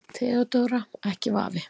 THEODÓRA: Ekki vafi.